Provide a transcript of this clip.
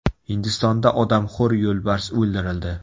Hindistonda odamxo‘r yo‘lbars o‘ldirildi .